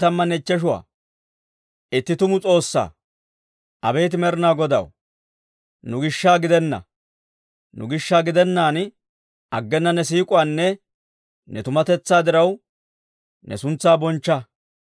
Abeet Med'inaa Godaw, nu gishsha gidenna; nu gishsha gidennaan, aggena ne siik'owunne ne tumatetsaa diraw, ne suntsaa bonchcha.